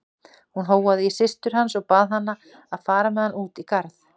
Hún hóaði í systur hans og bað hana að fara með hann út í garð.